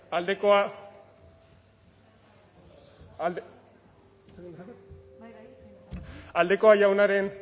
aldekoa aldekoa jaunaren